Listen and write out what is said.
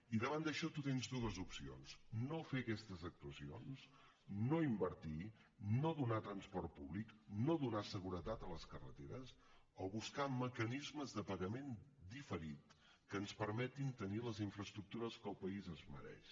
i davant d’això tu tens dues opcions no fer aquestes actuacions no invertir no donar transport públic no donar seguretat a les carreteres o buscar mecanismes de pagament diferit que ens permetin tenir les infraestructures que el país es mereix